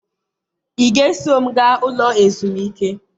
ị ga-eso m gaa Ụlọ ezumike?